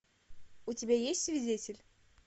у тебя есть свидетель